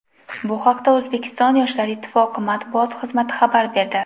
Bu haqda O‘zbekiston Yoshlar ittifoqi matbuot xizmati xabar berdi.